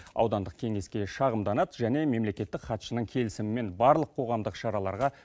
аудандық кеңеске шағымданады және мемлекеттік хатшының келісімімен барлық қоғамдық шараларға